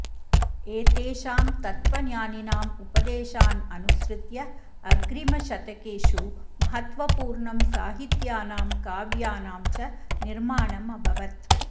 एतेषां तत्त्वज्ञानिनाम् उपदेशान् अनुसृत्य अग्रिमशतकेषु महत्त्वपूर्णं साहित्यानां काव्यानां च निर्माणम् अभवत्